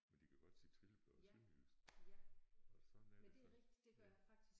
Men de kan godt sige trillebør på sønderjysk og sådan er det så ja